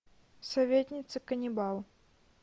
советница каннибал